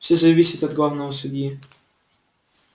всё зависит от главного судьи